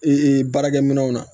baarakɛ minɛnw na